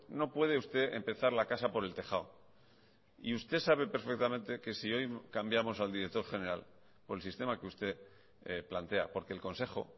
no puede usted empezar la casa por el tejado y usted sabe perfectamente que si hoy cambiamos al director general por el sistema que usted plantea porque el consejo